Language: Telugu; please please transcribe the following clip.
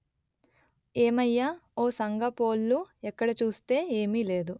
ఏమయ్య ఓ సంఘపోల్లు ఎక్కడ చూస్తే ఏమీ లేదు